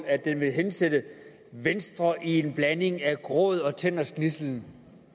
at den vil hensætte venstre i en blanding af gråd og tænders gnidsel